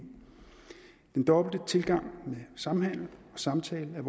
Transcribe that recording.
den dobbelte tilgang med samhandel og samtale er